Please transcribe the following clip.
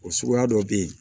O suguya dɔ be yen